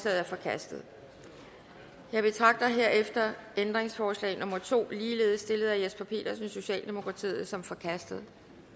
er forkastet jeg betragter herefter ændringsforslag nummer to ligeledes stillet af jesper petersen socialdemokratiet som forkastet